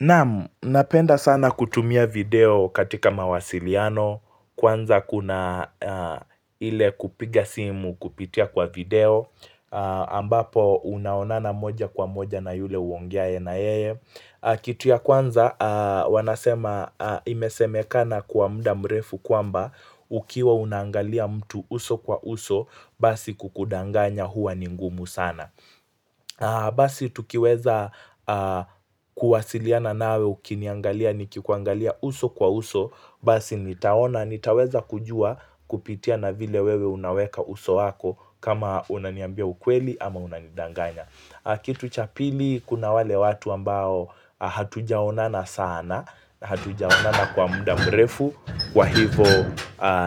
Namu, napenda sana kutumia video katika mawasiliano. Kwanza kuna ile kupiga simu kupitia kwa video. Ambapo unaonana moja kwa moja na yule uongiae na yeye kitu ya kwanza, imesemekana kwa muda mrefu kwamba Ukiwa unangalia mtu uso kwa uso, basi kukudanganya huwa ni ngumu sana Basi tukiweza kuwasiliana nawe ukiniangalia nikikuangalia uso kwa uso. Basi nitaona nitaweza kujua kupitia na vile wewe unaweka uso wako kama unaniambia ukweli ama unanidanganya kitu cha pili kuna wale watu ambao hatujaonana sana Hatujaonana kwa muda mrefu Kwa hivo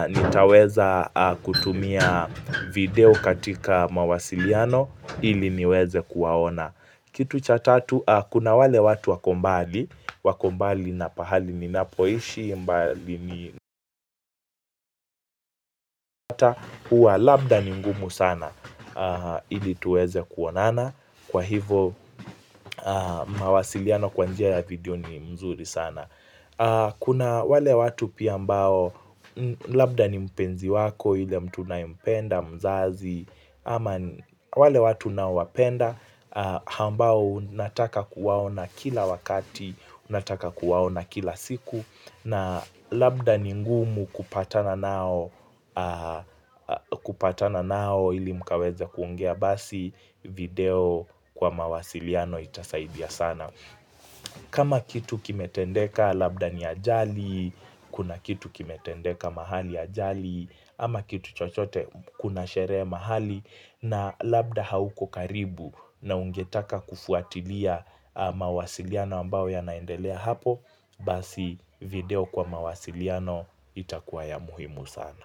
nitaweza kutumia video katika mawasiliano ili niweze kuwaona kitu cha tatu kuna wale watu wako mbali wako mbali na pahali ni napoishi mbali ni nata ua labda ni mgumu sana ili tuweze kuonana kwa hivo mawasiliano kwanjia ya video ni mzuri sana kuna wale watu pia ambao labda ni mpenzi wako ile mtu na unampenda mzazi ama wale watu na unaowapenda ambao unataka kuwaona kila wakati unataka kuwaona kila siku na labda ni ngumu kupatana nao kupatana nao ili mkaweza kuongea basi video kwa mawasiliano itasaidia sana kama kitu kimetendeka labda ni ajali kuna kitu kimetendeka mahali ajali ama kitu chochote kuna shere mahali na labda hauko karibu na ungetaka kufuatilia mawasiliano ambao ya naendelea hapo Basi video kwa mawasiliano itakuwa ya muhimu sana.